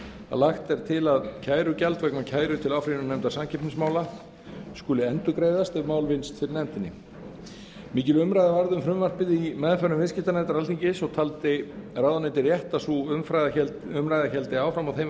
lagt er til að kærugjald vegna kæru til áfrýjunarnefndar samkeppnismála skuli endurgreiðast ef mál vinnst fyrir nefndinni mikil umræða varð um frumvarpið í meðförum viðskiptanefndar alþingis og taldi ráðuneytið rétt að sú umræða héldi áfram á þeim